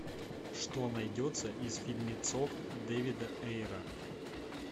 что найдется из фильмецов дэвида эйра